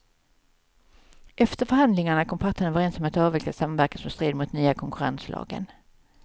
Efter förhandlingarna kom parterna överens om att avveckla samverkan som stred mot nya konkurrenslagen.